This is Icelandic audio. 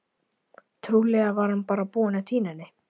Trúlega var hann bara búinn að týna henni.